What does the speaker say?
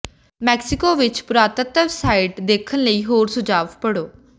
Mexico ਵਿਚ ਪੁਰਾਤੱਤਵ site ਦੇਖਣ ਲਈ ਹੋਰ ਸੁਝਾਅ ਪੜ੍ਹੋ